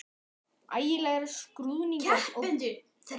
Ægilegir skruðningar og brestir heyrðust á línunni.